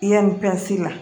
Yanni pansi la